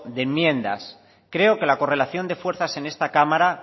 de enmiendas creo que la correlación de fuerzas en esta cámara